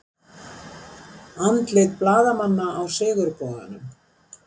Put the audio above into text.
Andlit blaðamanna á Sigurboganum